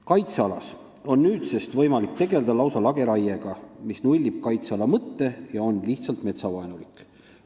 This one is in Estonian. " Kaitsealas on nüüdsest võimalik tegelda lausa lageraiega, mis nullib kaitseala mõtte ja on lihtsalt metsavaenulik.